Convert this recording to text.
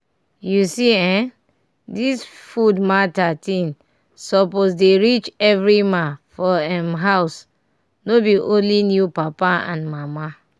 you see eh this food matter thig suppose dey reach every ma for em house no be olny new papa and mama